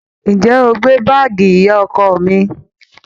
Ǹjẹ́ o gbé báàgì ìyá ọkọ mi?